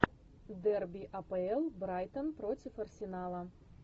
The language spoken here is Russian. дерби апл брайтон против арсенала